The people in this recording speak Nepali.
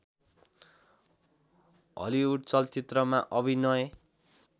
हलिवुड चलचित्रमा अभिनय